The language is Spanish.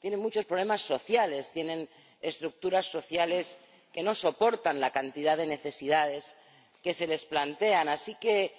tienen muchos problemas sociales, tienen estructuras sociales que no soportan la cantidad de necesidades que se les plantean, así que